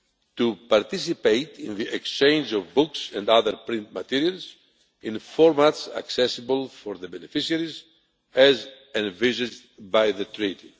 to participate in the exchange of books and other print materials in formats accessible for the beneficiaries, as envisioned by the Treaty.